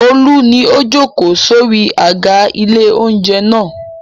Olú ni ó jókòó sórí àga ilé-oúnjẹ náà.